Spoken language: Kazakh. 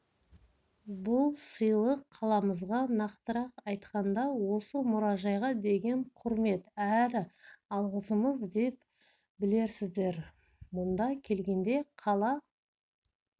бұл сыйлық қаламызға нақтырақ айтқанда осы мұражайға деген құрмет әрі алғысымыз деп білерсіздер мұнда келгенде қала